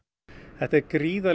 þetta er gríðarleg